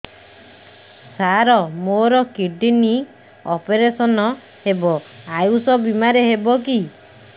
ସାର ମୋର kidney operation ହେବ ଆୟୁଷ ବିମାରେ ହେବ କି